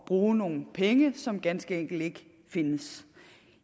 bruge nogle penge som ganske enkelt ikke findes